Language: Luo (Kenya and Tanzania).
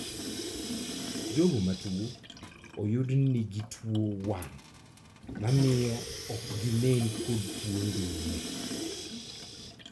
Jogo matuo uyudni nigi tuo wang' mamio ok ginen kod tuo ndulme